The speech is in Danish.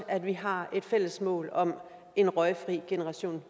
at vi har et fælles mål om en røgfri generation